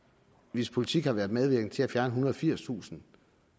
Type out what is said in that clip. hvis politikere har været medvirkende til at fjerne ethundrede og firstusind